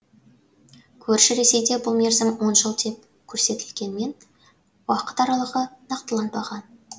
көрші ресейде бұл мерзім он жыл деп көрсетілгенмен уақыт аралығы нақтыланбаған